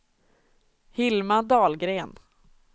Hilma Dahlgren